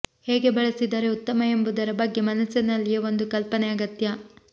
ಹೇಗೆ ಬಳಸಿದರೆ ಉತ್ತಮ ಎಂಬುದರ ಬಗ್ಗೆ ಮನಸ್ಸಿನಲ್ಲಿಯೇ ಒಂದು ಕಲ್ಪನೆ ಅಗತ್ಯ